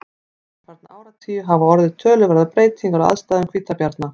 undanfarna áratugi hafa orðið töluverðar breytingar á aðstæðum hvítabjarna